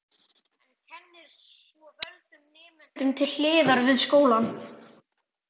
En kennir svo völdum nemendum til hliðar við skólann.